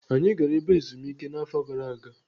Anyị gara ebe ezumike n'afọ gara aga.